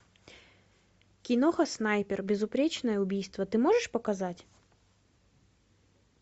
киноха снайпер безупречное убийство ты можешь показать